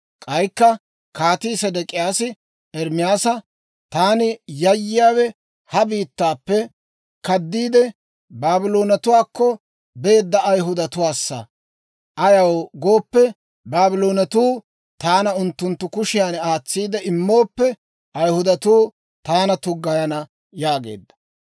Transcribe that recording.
K'aykka Kaatii Sedek'iyaasi Ermaasa, «Taani yayyiyaawe ha biittaappe kaddiide, Baabloonetuwaakko beedda Ayihudatuwaassa. Ayaw gooppe, Baabloonetuu taana unttunttu kushiyan aatsiide immooppe, Ayihudatuu taana tuggayana» yaageedda.